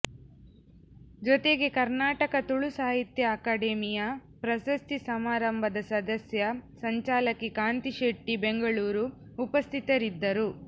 ಜೊತೆಗೆ ಕರ್ನಾಟಕ ತುಳು ಸಾಹಿತ್ಯ ಅಕಾಡೆಮಿಯ ಪ್ರಶಸ್ತಿ ಸಮಾರಂಭದ ಸದಸ್ಯ ಸಂಚಾಲಕಿ ಕಾಂತಿ ಶೆಟ್ಟಿ ಬೆಂಗಳೂರು ಉಪಸ್ಥಿತರಿದ್ದರು